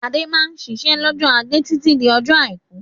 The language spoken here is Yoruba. Adé máa ń ṣiṣẹ́ lọ́jọ́ ajé títí di ọjọ́ àìkú.